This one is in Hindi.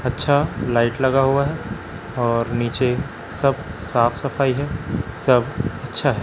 अच्छा लाइट लगा हुआ है और नीचे सब साफ सफाई है सब अच्छा है।